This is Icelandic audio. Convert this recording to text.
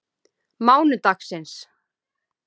mánudagsins